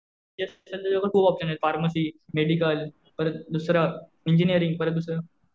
तुला खूप ऑप्शन आहेत. फार्मसी, मेडिकल परत दुसरं इंजिनीअरिंग परत दुसरं